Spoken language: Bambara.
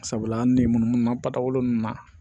Sabula an ni munnu munnu ma batagolo nunnu na